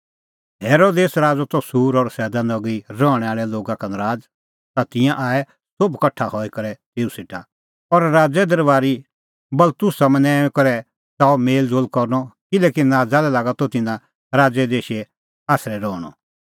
हेरोदेस राज़अ त सूर और सैदा नगरी रहणैं आल़ै लोगा का नराज़ ता तिंयां आऐ सोभै कठा हई करै तेऊ सेटा और राज़े अफसर बलास्तुसा मनैंऊंईं करै च़ाहअ मेल़ज़ोल़ करनअ किल्हैकि नाज़ा लै लागा त तिन्नां राज़े देशे आसरै रहणअ